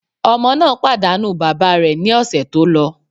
Ọmọ náà pàdánù bàbá rẹ̀ ní ọ̀sẹ̀ tó lọ.